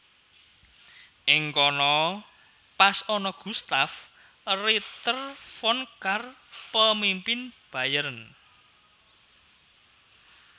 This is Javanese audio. Ing kono pas ana Gustav Ritter von Kahr pemimpin Bayern